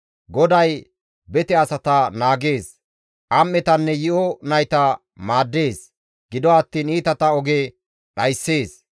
GODAY bete asata naagees. Am7etanne yi7o nayta maaddees; gido attiin iitata oge dhayssees.